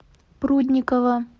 прудникова